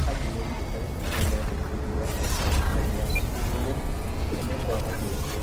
Kambuni nĩitarĩtwo kwĩyandĩkithia ;mangĩaga ũguo nĩmekũaga mĩeke